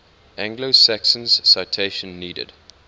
anglo saxons citation needed